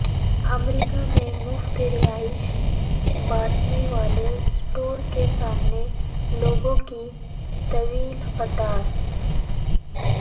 امریکہ میں مفت راشن بانٹنے والے اسٹور کے سامنے لوگوں کی طویل قطار